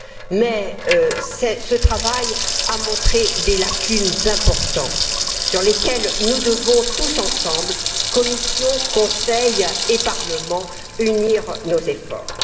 Mais ce travail a montré des lacunes importantes autour desquelles nous devons tous ensemble, Commission, Conseil et Parlement, unir nos efforts.